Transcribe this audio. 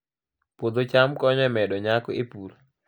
Puodho cham konyo e medo nyak e pur